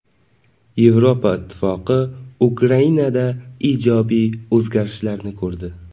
Yevropa Ittifoqi Ukrainada ijobiy o‘zgarishlarni ko‘rdi.